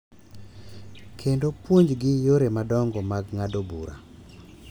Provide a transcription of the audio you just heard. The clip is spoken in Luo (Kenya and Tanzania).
Kendo puonjgi yore madongo mag ng’ado bura.